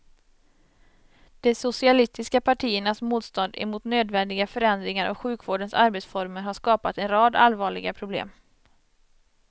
De socialistiska partiernas motstånd emot nödvändiga förändringar av sjukvårdens arbetsformer har skapat en rad allvarliga problem.